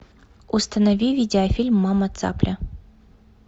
установи видеофильм мама цапля